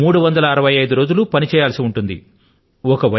మూడు వందల అరవై ఐదు రోజులూ విధి నిర్వహణే నన్నమాట